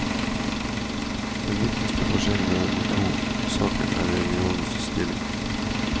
Den viktigste forskjell mellom de to saker er religionens stilling.